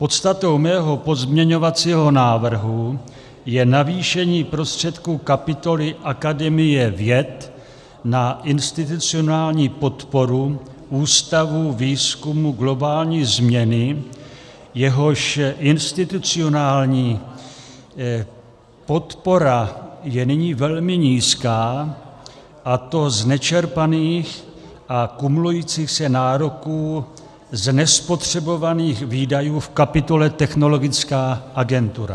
Podstatou mého pozměňovacího návrhu je navýšení prostředků kapitoly Akademie věd na institucionální podporu Ústavu výzkumu globální změny, jehož institucionální podpora je nyní velmi nízká, a to z nečerpaných a kumulujících se nároků z nespotřebovaných výdajů v kapitole Technologická agentura.